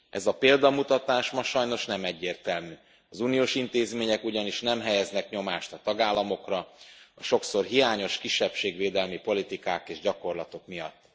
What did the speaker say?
Ez a példamutatás ma sajnos nem egyértelmű, az uniós intézmények ugyanis nem helyeznek nyomást a tagállamokra a sokszor hiányos kisebbségvédelmi politikák és gyakorlatok miatt.